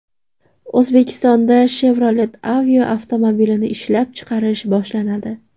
O‘zbekistonda Chevrolet Aveo avtomobilini ishlab chiqarish boshlanadi.